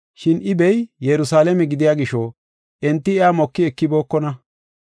Shin I bey Yerusalaame gidiya gisho, enti iya moki ekibookona.